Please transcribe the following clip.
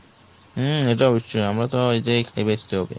হুম এটা অবশ্যই আমরা এই তাই খেয়ে বাঁচতে হবে।